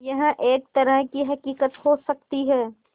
यह एक तरह की हक़ीक़त हो सकती है